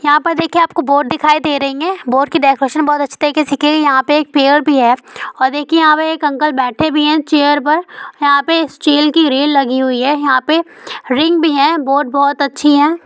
यहाँ पर देखिये आपको बोट दिखाई दे रही है बोट की डेकोरेशन बोहोत अछि तरीके से कीई यहा पे एक पेयर भी है और देखिए यहा मे एक अंकल बैठे भी है चेयर पर यहा पे एक चैल की रेल लगी हुए है यहाँ पे रिंग भी है बोट बोहोत अच्छी है।